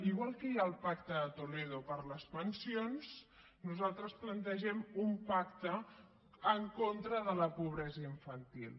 igual que hi ha el pacte de toledo per a les pensions nosaltres plantegem un pacte en contra de la pobresa infantil